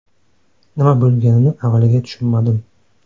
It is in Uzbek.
Nima bo‘lganini avvaliga tushunmadim.